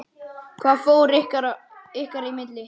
Hvað fór ykkar í milli?